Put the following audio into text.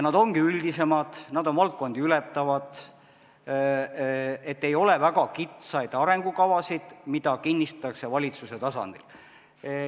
Nad ongi üldisemad, nad on valdkondi ületavad, st ei ole väga kitsaid arengukavasid, mis kinnitatakse valitsuse tasandil.